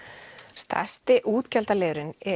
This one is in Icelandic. stærsti útgjaldaliðurinn